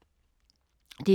DR2